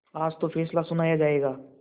आज तो फैसला सुनाया जायगा